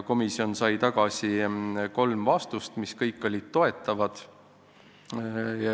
Komisjon sai kolm vastust, mis kõik olid toetavad.